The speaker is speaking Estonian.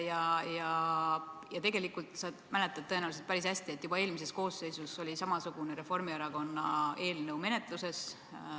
Sa mäletad tõenäoliselt päris hästi, et juba eelmises koosseisus oli samasugune Reformierakonna eelnõu menetluses.